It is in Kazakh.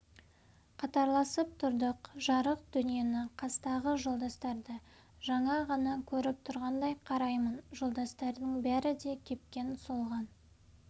қатарласып тұрдық жарық дүниені қастағы жолдастарды жаңа ғана көріп тұрғандай қараймын жолдастардың бәрі де кепкен солған